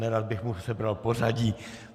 Nerad bych mu sebral pořadí.